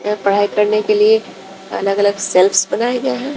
यहा पढ़ाई करने के लिए अलग अलग शेल्फस बनाये गये है।